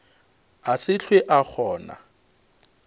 a se hlwe a kgona